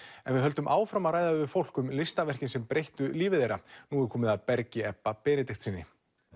en við höldum áfram að ræða við fólk um listaverkin sem breyttu lífi þeirra nú er komið að Bergi Ebba Benediktssyni